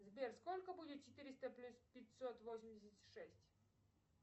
сбер сколько будет четыреста плюс пятьсот восемьдесят шесть